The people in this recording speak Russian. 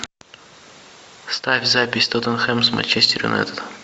ставь запись тоттенхэм с манчестер юнайтед